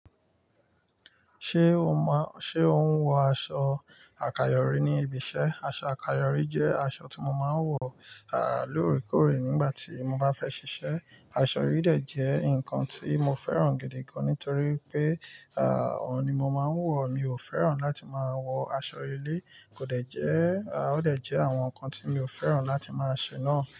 Ṣé o máa n-- ṣe o ń wọ aṣọ àkayòrí ní ibi iṣẹ́? Aṣọ àkayòrí jẹ́ aṣọ tí mo máa ń wọ, à, lóòrèkóòrè nígbà tí mo bá fẹ́ ṣiṣẹ́. Aṣọ yìí dẹ̀ jẹ́ nǹkan tí mo fẹ́ràn gidi gan nítorí pé, à, òun ni mo máa ń wọ. Mi ò fẹ́ràn láti máa wọ aṣọ ilé. Kò dẹ̀ jẹ́, à, ó dẹ̀ jẹ́ àwọn nǹkan tí mi ò fẹ́ràn láti máa ṣe náà.